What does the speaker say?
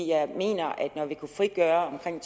jeg mener at når vi kunne frigøre omkring